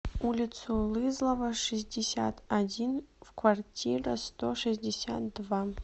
улицу лызлова шестьдесят один в квартира сто шестьдесят два